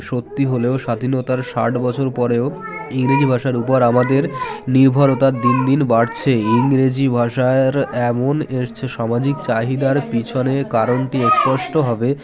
সত্যি হলেও স্বাধীনতার ষাট বছর পরেও ইংরেজি ভাষার উপর আমাদের নির্ভরতা দিন দিন বাড়ছে ইংরেজি ভাষার এমন এ সামাজিক চাহিদার পিছনে কারণটি স্পষ্ট হবে